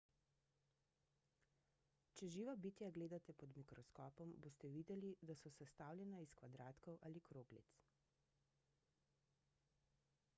če živa bitja gledate pod mikroskopom boste videli da so sestavljena iz kvadratkov ali kroglic